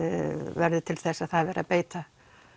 verði til þess að það er verið að beita